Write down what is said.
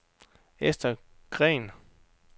Esther Green